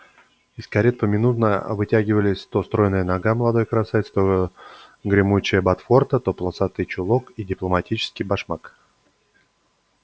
из карет поминутно вытягивались то стройная нога молодой красавицы то гремучая ботфорта то полосатый чулок и дипломатический башмак